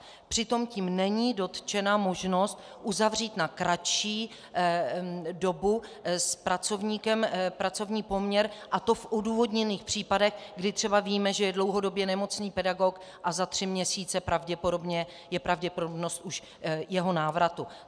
Přitom tím není dotčena možnost uzavřít na kratší dobu s pracovníkem pracovní poměr, a to v odůvodněných případech, kdy třeba víme, že je dlouhodobě nemocný pedagog a za tři měsíce je pravděpodobnost už jeho návratu.